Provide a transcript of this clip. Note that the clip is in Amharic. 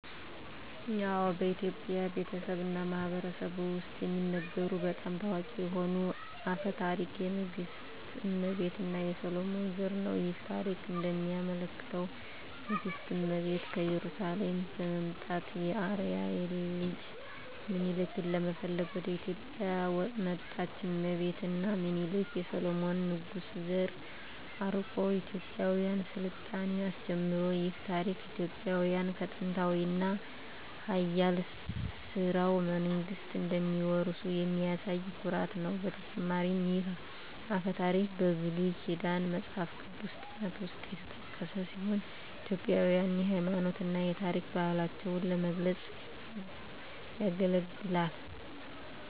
አዎ፣ በኢትዮጵያ ቤተሰብ እና ማህበረሰብ ውስጥ የሚነገሩ በጣም ታዋቂ የሆነ አፈ ታሪክ የንግሥት እመቤት እና የሰሎሞን ዘር ነው። ይህ ታሪክ እንደሚያመለክተው ንግሥት እመቤት ከኢየሩሳሌም በመምጣት የአርአያ ልጅ ሚኒሊክን ለመፈለግ ወደ ኢትዮጵያ መጣች። እመቤት እና ሚኒሊክ የሰሎሞን ንጉሥ ዘር አርቆ የኢትዮጵያን ሥልጣኔ አስጀመሩ። ይህ ታሪክ ኢትዮጵያውያን ከጥንታዊ እና ኃያል ሥርወ መንግሥት እንደሚወርሱ የሚያሳይ ኩራት ነው። በተጨማሪም ይህ አፈ ታሪክ በብሉይ ኪዳን መጽሐፍ ቅዱስ ጥናት ውስጥ የተጠቀሰ ሲሆን ኢትዮጵያውያንን የሃይማኖት እና የታሪክ ባህላቸውን ለመግለጽ ያገለግላል።